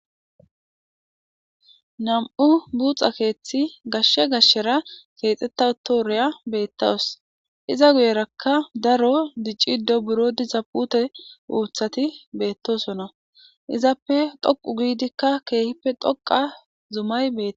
nam7u buuxa keeththi gashshe gashshera keexxetta utooreya beettawus iza guyerakka daro dicciddo buro dizapute uuthati beettosona izappe dhoqu giidikka keehippe dhoqa zumay beet